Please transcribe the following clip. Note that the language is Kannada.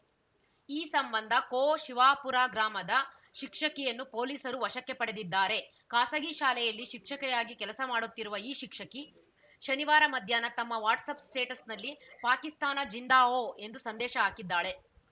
ಈ ಸಂಬಂಧ ಕೋಶಿವಾಪೂರ ಗ್ರಾಮದ ಶಿಕ್ಷಕಿಯನ್ನು ಪೊಲೀಸರು ವಶಕ್ಕೆ ಪಡೆದಿದ್ದಾರೆ ಖಾಸಗಿ ಶಾಲೆಯಲ್ಲಿ ಶಿಕ್ಷಕಿಯಾಗಿ ಕೆಲಸ ಮಾಡುತ್ತಿರುವ ಈ ಶಿಕ್ಷಕಿ ಶನಿವಾರ ಮಧ್ಯಾಹ್ನ ತಮ್ಮ ವಾಟ್ಸಪ್‌ ಸ್ಟೇಟಸ್‌ನಲ್ಲಿ ಪಾಕಿಸ್ತಾನ ಜಿಂದಾಹೋ ಎಂದು ಸಂದೇಶ ಹಾಕಿದ್ದಾಳೆ